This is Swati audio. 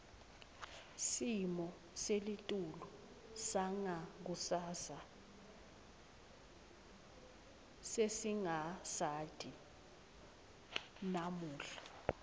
simo selitulu sangakusasa sesingasati namuhla